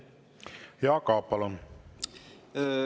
Jaak Aab, palun!